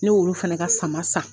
Ne y'olu fana ka sama san